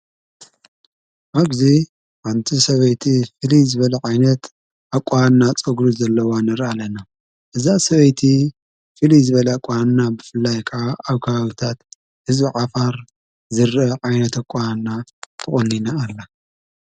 ኣብዚ ሓንቲ ሰበይቲ ፍልይ ዝበለ ዓይነት ኣቋና ፀጕሪ ዘለዋ ንርኢ ኣለና እዛ ሰበይቲ ፍልይ ዝበል ኣቋና ብፍላይ ከዓ ኣብከባብታት ህዝቢ ዓፋር ዝርአ ዓይነት ኣቋና ተቖኒና ኣላ።